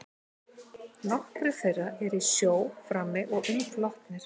Nokkrir þeirra eru í sjó frammi og umflotnir.